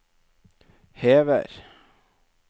hever